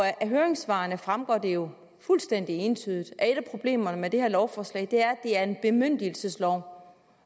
af høringssvarene fremgår det jo fuldstændig entydigt at et af problemerne med det her lovforslag er at det er en bemyndigelseslov